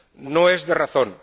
No es de razón.